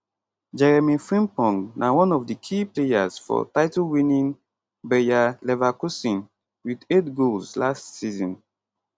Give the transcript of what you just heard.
jeremy frimpong na one of di key players for titlewinning bayer leverkusen wit 8 goals last season